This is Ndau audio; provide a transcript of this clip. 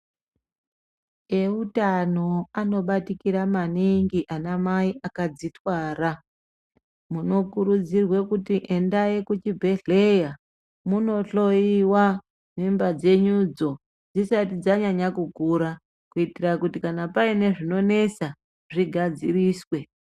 Eutano anobatikira maningi anamai akadzithwara, munokurudzirwe kuti endai kuchibhedhleya, munohloiwa, mimba dzenyudzo ,dzisati dzanyanya kukura, kuitira kuti kana paine zvinonesa ,zvigadziriswe.